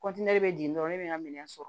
kɔntiniye dɔrɔn ne bɛ n ka minɛn sɔrɔ